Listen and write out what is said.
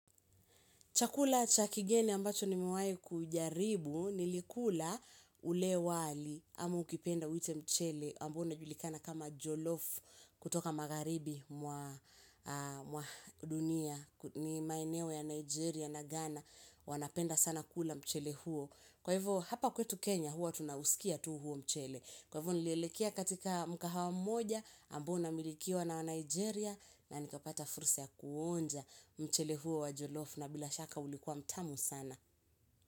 Chakula cha kigeni ambacho nimewahai kujaribu nilikula ule wali ama ukipenda uite mchele ambao unajulikana kama Jolof kutoka magharibi mwa mwa dunia ni maeneo ya Nigeria na Ghana wanapenda sana kula mchele huo. Kwa hivyo hapa kwetu Kenya huwa tunausikia tu huo mchele. Kwa hivyo nilielekea katika mkahawa mmoja ambao unamilikiwa na wanigeria na nikapata fursa ya kuonja mchele huo wa jolof na bila shaka ulikuwa mtamu sana.